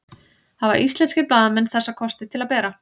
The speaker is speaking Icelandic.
hafa íslenskir blaðamenn þessa kosti til að bera